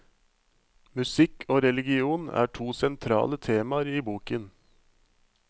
Musikk og religion er to sentrale temaer i boken.